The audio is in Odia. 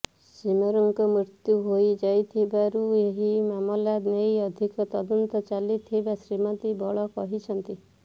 ସିମରନ୍ଙ୍କ ମୃତ୍ୟୁ ହୋଇ ଯାଇଥିବାରୁ ଏହି ମାମଲା ନେଇ ଅଧିକ ତଦନ୍ତ ଚାଲୁଥିବା ଶ୍ରୀମତୀ ବଳ କହିଛନ୍ତି